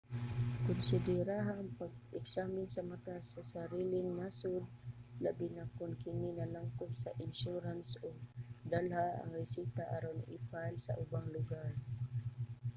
konsideraha ang pagpa-eksamin sa mata sa sariling nasod labi na kon kini nalangkob sa insurance ug dalha ang reseta aron i-file sa ubang lugar